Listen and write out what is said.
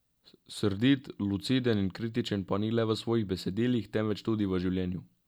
Srdit, luciden in kritičen pa ni le v svojih besedilih, temveč tudi v življenju.